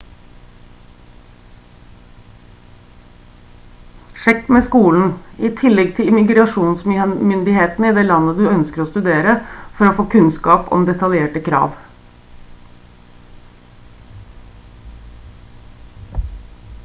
sjekk med skolen i tillegg til immigrasjonsmyndighetene i det landet du ønsker å studere for å få kunnskap om detaljerte krav